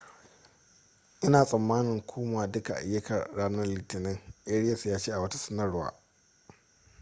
ina tsamanin koma duka ayyukata ranar litinin arias ya ce a wata sanarwa